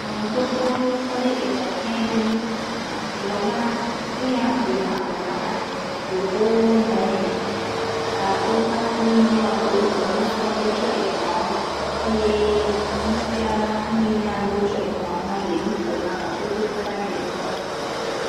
Tsatsa la kple nukpɔla aɖewo va yi ɖe ekpe xɔme sike wotu ɖe Ƒuta le afia ɖe. Wo to ɖe kpe xɔ la gbɔ eye ame aɖewo le wò yi me le nya aɖe gblɔm nawò.